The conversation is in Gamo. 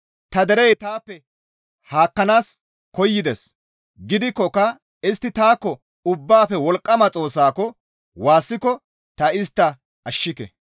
Ta derey taappe haakkanaas koyides; gidikkoka istti taakko Ubbaafe Wolqqama Xoossako waassiko ta istta ashshike.